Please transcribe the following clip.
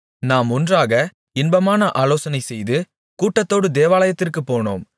நாம் ஒன்றாக இன்பமான ஆலோசனைசெய்து கூட்டத்தோடு தேவாலயத்திற்குப் போனோம்